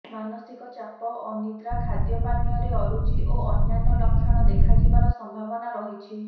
ମାନସିକ ଚାପ ଅନିଦ୍ରା ଖାଦ୍ୟପାନୀୟରେ ଅରୁଚି ଓ ଅନ୍ୟାନ୍ୟ ଲକ୍ଷଣ ଦେଖାଯିବାର ସମ୍ଭାବନା ରହିଛି